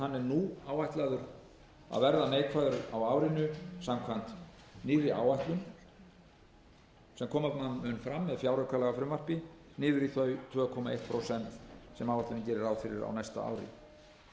nú áætlaður að verða neikvæður á árinu samkvæmt nýrri áætlun sem koma mun fram með fjáraukalagafrumvarpi niður í þau tvö komma eitt prósent sem áætlunin gerir ráð fyrir á næsta ári að